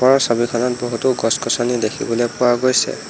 ওপৰৰ ছবিখনত বহুতো গছ-গছনি দেখিবলৈ পোৱা গৈছে।